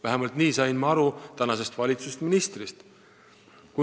Vähemalt nii sain ma praeguse valitsuse ministrist aru.